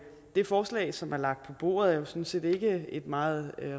det forslag som er lagt på bordet er sådan set ikke et meget